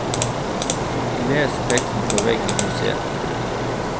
Les teksten på vegg i museet.